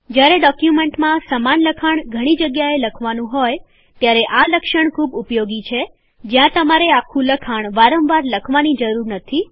જ્યારે ડોક્યુમેન્ટમાં સમાન લખાણ ઘણી જગ્યાએ લખવાનું હોય ત્યારે આ લક્ષણ ખૂબ ઉપયોગી છે જ્યાં તમારે આખું લખાણ વારંવાર લખવાની જરૂર નથી